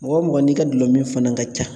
Mɔgɔ mɔgɔ n'i ka gulɔmin fana ka ca